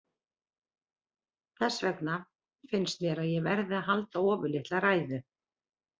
Þess vegna finnst mér að ég verði að halda ofurlitla ræðu.